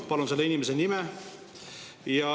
Palun selle inimese nime.